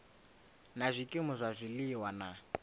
na zwikimu zwa zwiliwa na